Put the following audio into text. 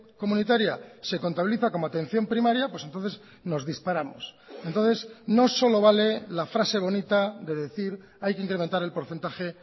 comunitaria se contabiliza como atención primaria pues entonces nos disparamos entonces no solo vale la frase bonita de decir hay que incrementar el porcentaje